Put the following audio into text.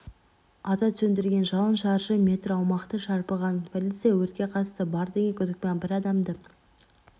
ата сөндірген жалын шаршы метр аумақты шарпыған полиция өртке қатысы бар деген күдікпен бір адамды